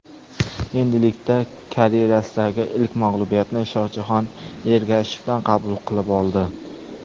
Endilikda karyerasidagi ilk mag‘lubiyatni Shohjahon Ergashevdan qabul qilib oldi.